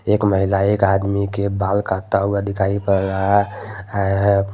एक महिला एक आदमी के बाल काटता हुआ दिखाई पड रहा है है।